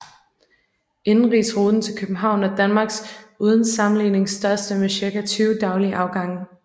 Indenrigsruten til København er Danmarks uden sammenligning største med cirka 20 daglige afgange